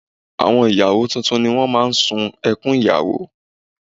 Àwọn ìyàwó tuntun ni wọ́n máa ń sun ẹkún ìyàwó